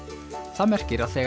það merkir að þegar